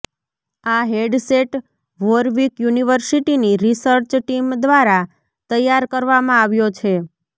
આ headset Warwick યુનિવર્સિટીની research team દ્વારા તૈયાર કરવામાં આવ્યો છે